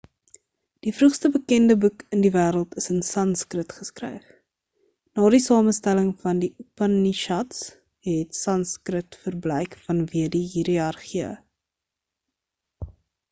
die vroegste bekende boek in die wêreld is in sanskrit geskryf na die samestelling van die upanishads het sanskrit verbleik vanweë die hiërargieë